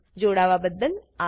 જોડાવાબદ્દલ આભાર